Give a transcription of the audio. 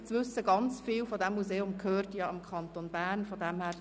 Gut zu wissen ist auch, dass ein grosser Teil des Museums dem Kanton Bern gehört.